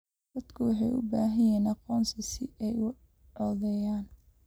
Dadku waxay u baahan yihiin aqoonsi si ay u codeeyaan.